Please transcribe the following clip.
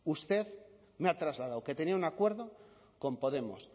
usted me ha trasladado que tenía un acuerdo con podemos